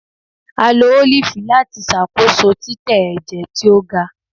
a lo olifi lati ṣakoso titẹ ẹjẹ ti o ga.